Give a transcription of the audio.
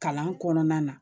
Kalan kɔnɔna na